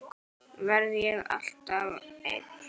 Verð ég þá alltaf ein?